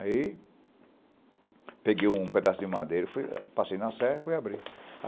Aí, peguei um pedaço de madeira e fui, passei na serra e fui abrir.